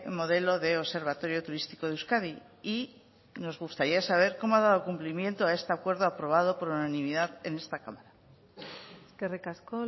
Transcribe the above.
modelo de observatorio turístico de euskadi y nos gustaría saber cómo ha dado cumplimiento a este acuerdo aprobado por unanimidad en esta cámara eskerrik asko